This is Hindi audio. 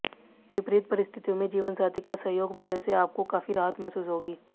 विपरीत परिस्थितियों में जीवनसाथी का सहयोग मिलने से आपको काफी राहत महसूस होगी